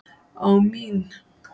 á mín.